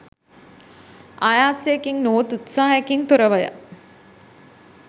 ආයාසයකින් නොහොත් උත්සාහයකින් තොරවය.